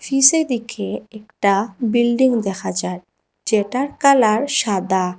পিছে দিকে একটা বিল্ডিং দেখা যায় যেটার কালার সাদা।